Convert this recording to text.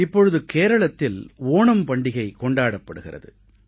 இப்பொழுது கேரளத்தில் ஓணம் பண்டிகை கொண்டாடப்படுகிறது